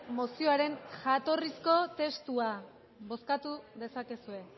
mozioaren jatorrizko testua bozkatu dezakezue